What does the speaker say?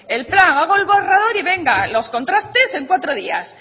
el plan hago el borrador y venga los contrastes en cuatro días